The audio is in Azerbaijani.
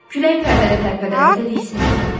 Külək pərdəni tərpədəndə də diksinirdi.